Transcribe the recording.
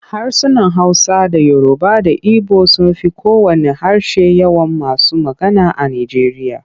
Harsunan Hausa da Yoruba da Ibo sun fi kowanne harshe yawan masu magana a Nijeriya.